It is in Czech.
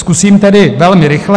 Zkusím tedy velmi rychle.